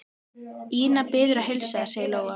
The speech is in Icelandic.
Ína biður að heilsa þér, sagði Lóa.